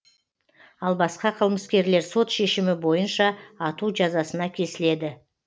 ал басқа қылмыскерлер сот шешімі бойынша ату жазасына кесіледі